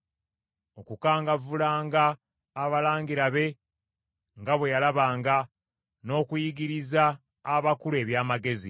okukangavvulanga abalangira be nga bwe yalabanga, n’okuyigiriza abakulu eby’amagezi.